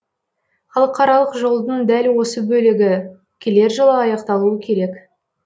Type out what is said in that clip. халықаралық жолдың дәл осы бөлігі келер жылы аяқталуы керек